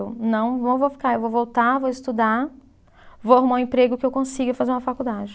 Eu não vou, vou ficar, eu vou voltar, vou estudar, vou arrumar um emprego que eu consiga fazer uma faculdade.